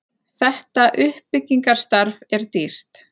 Þetta uppbyggingarstarf er dýrt.